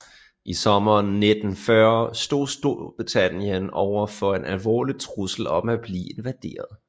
I sommeren 1940 stod Storbritannien over for en alvorlig trussel om at blive invaderet